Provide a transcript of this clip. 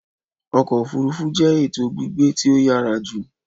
Ọkọ òfurufú jẹ eto gbígbé ti o yára jù